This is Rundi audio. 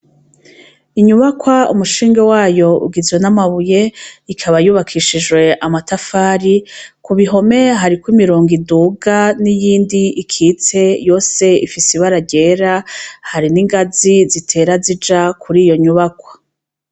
Inyubakwa umushinge wayo ugizwe n'amabuye ikaba yubakishijwe amatafari kubihome hariko imirongo iduga n'iyindi ikitse yo se ifise ibararera hari n'ingazi zitera zija kuri iyo nyubakwa.